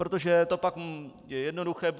Protože to pak je jednoduché.